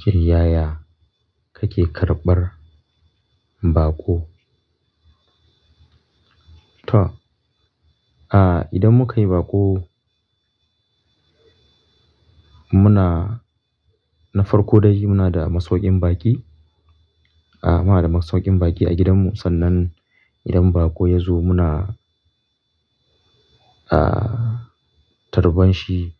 Tayaya kake karɓar baƙo? To, ah, idan mukayi baƙo muna na farko dai muna da masauƙin baƙi. Ah, muna da masauƙin baƙi a gidanmu sannan idan baƙo ya zo muna, ah, tarban shi